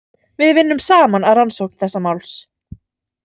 Við vinnum saman að rannsókn þessa máls.